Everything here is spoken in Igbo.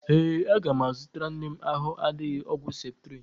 Ee, aga m azụtara nne m ahụ adịghị ọgwụ ceptrin.